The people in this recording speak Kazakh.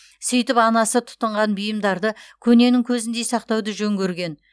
сөйтіп анасы тұтынған бұйымдарды көненің көзіндей сақтауды жөн көрген